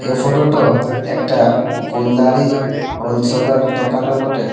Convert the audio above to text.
এই ফটো টো একটা গোলদারি অঞ্চলের দোকানের বটে।